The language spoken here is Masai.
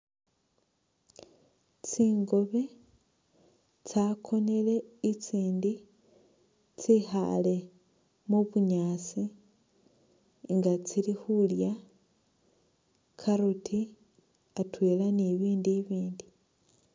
Tsingobi tsakonile itsindi tsekhale mu'bunyaasi nga tsilikhulya carrot atwela ni bindu bibindi